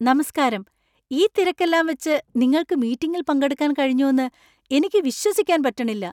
നമസ്കാരം! ഈ തിരക്കെല്ലാം വച്ച് നിങ്ങൾക്ക് മീറ്റിംഗിൽ പങ്കെടുക്കാൻ കഴിഞ്ഞുന്ന് എനിക്ക് വിശ്വസിക്കാൻ പറ്റണില്ല!